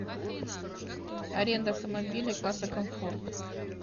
аренда автомобиля класса комфорт